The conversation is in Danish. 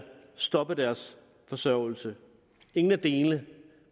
stoppe deres forsørgelse ingen af delene